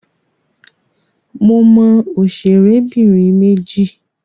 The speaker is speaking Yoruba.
Mo mọ òṣèrẹ́bìnrin méjì.